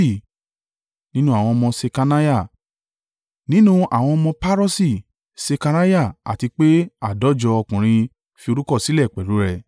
nínú àwọn ọmọ Ṣekaniah; nínú àwọn ọmọ Paroṣi: Sekariah, àti pé àádọ́jọ ọkùnrin fi orúkọ sílẹ̀ pẹ̀lú rẹ;